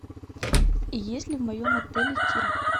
есть ли в моем отеле тир